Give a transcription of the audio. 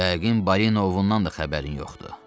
Yəqin Balin Oundan da xəbərin yoxdur.